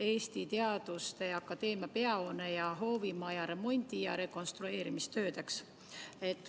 Eesti Teaduste Akadeemia peahoone ja hoovimaja remondi- ja rekonstrueerimistöödeks.